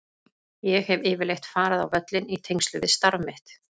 Ég hef yfirleitt farið á völlinn í tengslum við starf mitt.